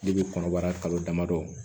kɔnɔbara kalo damadɔ